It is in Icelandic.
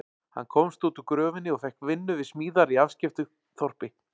Hann komst út úr gröfinni og fékk vinnu við smíðar í afskekktu þorpi.